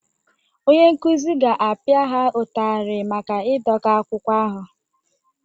Onye nkụzi ga-apịa ha ụtarị maka ịdọka akwụkwọ ahụ